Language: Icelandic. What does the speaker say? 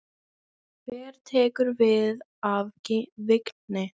Hver tekur við af Vigni?